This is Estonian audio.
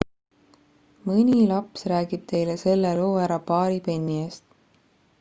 mõni laps räägib teile selle loo ära paari penni eest